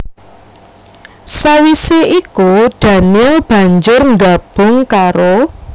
Sawisé iku daniel banjur nggabung karo